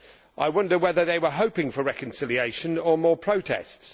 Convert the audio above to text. I wonder whether they were hoping for reconciliation or for more protests.